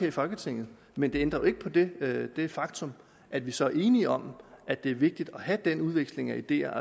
i folketinget men det ændrer jo ikke på det det faktum at vi så er enige om at det er vigtigt at have den udveksling af ideer